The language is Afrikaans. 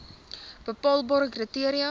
bepaalbare kri teria